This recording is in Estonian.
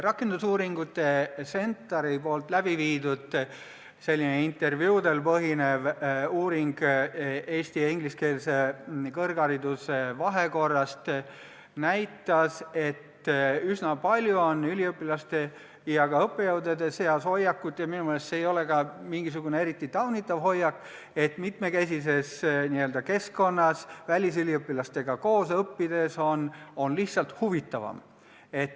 Rakendusuuringute keskuse CentAR-i läbiviidud intervjuudel põhinev uuring eesti- ja ingliskeelse kõrghariduse vahekorra kohta näitas, et üsna palju on üliõpilaste ja ka õppejõudude seas hoiakut – ja minu meelest ei ole see sugugi taunitav hoiak –, et mitmekesises keskkonnas välisüliõpilastega koos õppides on lihtsalt huvitavam.